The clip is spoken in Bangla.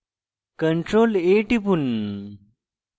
ctrl + a টিপুন